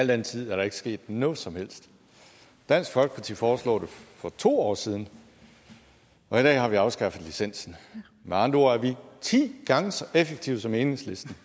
den tid er der ikke sket noget som helst dansk folkeparti foreslog det for to år siden og i dag har vi afskaffet licensen med andre ord er vi ti gange så effektive som enhedslisten